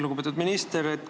Lugupeetud minister!